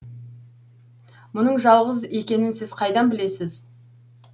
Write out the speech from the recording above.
мұның жалғыз екенін сіз қайдан білесіз